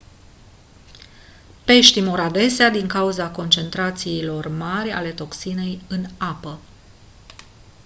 peștii mor adesea din cauza concentrațiilor mari ale toxinei în apă